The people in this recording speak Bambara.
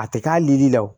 A tɛ k'a yiri la o